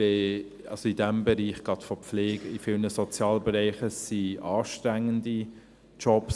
Gerade in diesem Bereich der Pflege, in vielen Sozialbereichen sind es anstrengende Jobs.